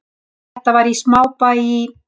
Þetta var í smábæ í